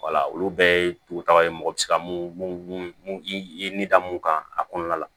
olu bɛɛ ye dugutaga ye mɔgɔ bɛ se ka mun i da mun kan a kɔnɔna la